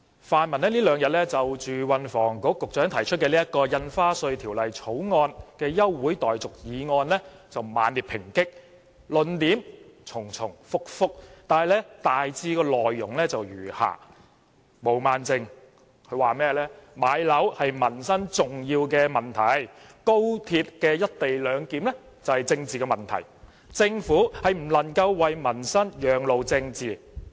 泛民這兩天猛烈抨擊運輸及房屋局局長就《2017年印花稅條例草案》提出休會待續議案，論點重重複複，內容大致如下：毛孟靜議員說，買樓是重要的民生問題，而高鐵"一地兩檢"則是政治問題，政府不能要民生讓路予政治。